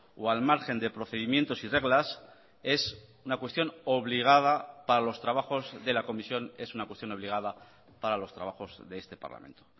o al margen de procedimientos y reglas es una cuestión obligada para los trabajos de la comisión es una cuestión obligada para los trabajos de este parlamento